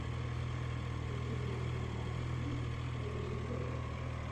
у тебя в запасе есть рыжий пес